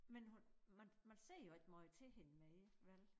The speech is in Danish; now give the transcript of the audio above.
Men hun man man ser jo ikke måj til hende mere vel?